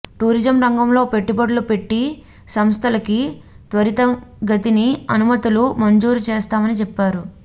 tourism రంగంలో పెట్టుబడులు పెట్టె సంస్థలకి త్వరితగతిన అనుమతులు మంజూరు చేస్తామని చెప్పారు